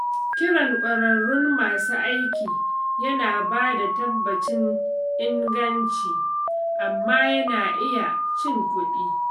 Kiran ƙwararrun masu aiki yana bada tabbacin inganci, amma yana iya cin kuɗi.